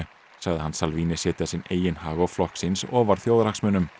sagði hann setja sinn eigin hag og flokks síns ofar þjóðarhagsmunum